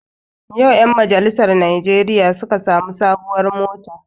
Yau ƴan majalisar najeriya suka sami sabon mota